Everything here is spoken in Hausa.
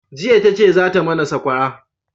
jiya ta ce za ta mana sakwara